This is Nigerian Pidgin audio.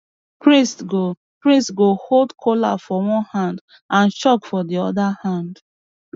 priest go priest go hold kola for one hand and chalk for the other hand